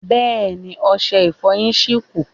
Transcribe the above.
Bẹ́ẹ̀ni, ọṣẹ Ìfọ̀yín ṣì kù